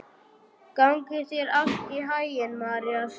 Gangi þér allt í haginn, Marías.